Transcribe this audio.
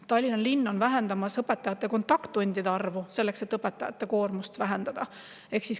Tallinna linn vähendab õpetajate kontakttundide arvu, selleks et õpetajate koormust vähendada.